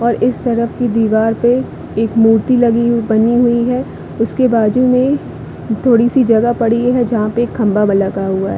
और इस तरफ की दिवार पे एक मूर्ति लगी बनी हुई है। उसके बाजु में थोड़ी सी जगह पड़ी है जहाँ पे एक खम्बा व लगा हुआ है ।